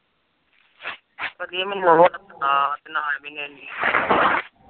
ਅੜੀਏ ਮੈਨੂੰ